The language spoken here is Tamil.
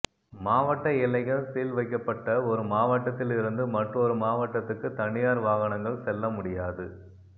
மாவட்ட எல்லைகள் சீல் வைக்கப்பட்ட ஒரு மாவட்டத்தில் இருந்து மற்றொரு மாவட்டத்துக்கு தனியார் வாகனங்கள் செல்ல முடியாது